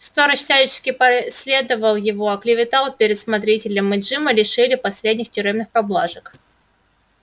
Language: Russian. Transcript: сторож всячески преследовал его оклеветал перед смотрителем и джима лишили последних тюремных поблажек